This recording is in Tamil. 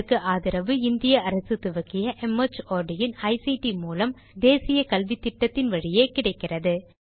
இதற்கு ஆதரவு இந்திய அரசு துவக்கிய மார்ட் இன் ஐசிடி மூலம் தேசிய கல்வித்திட்டத்தின் வழியே கிடைக்கிறது